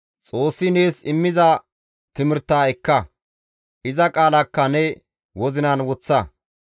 Xoossi nees immiza timirtaa ekka; iza qaalakka ne wozinan woththa.